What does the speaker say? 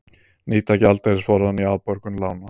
Nýta gjaldeyrisforðann í afborgun lána